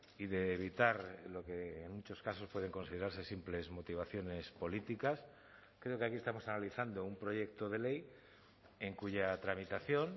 y de evitar lo que en muchos casos pueden considerarse simples motivaciones políticas creo que aquí estamos analizando un proyecto de ley en cuya tramitación